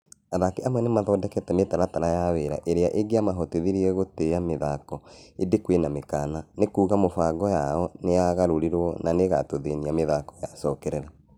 Athaki amwe nĩ mathondekete mĩtaratara ya wĩra ĩrĩa ĩngĩa mahotithirie gũtĩa mĩthako ĩndĩ kwĩna mĩkana, nĩ kuuga mĩbango yao nĩyaingĩrĩirũo na nĩĩgatũthĩnia mĩthako yacokererio.